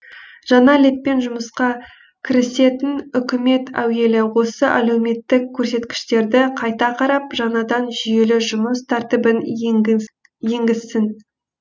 жаңа леппен жұмысқа кірісетін үкімет әуелі осы әлеуметтік көрсеткіштерді қайта қарап жаңадан жүйелі жұмыс тәртібін енгізсін